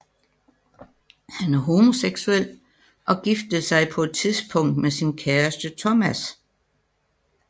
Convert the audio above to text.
Han er homoseksuel og giftede sig på et tidspunkt med sin kæreste Thomas